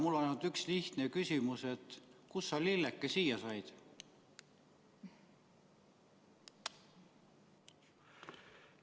Mul on ainult üks lihtne küsimus: kust sa, lilleke, siia said?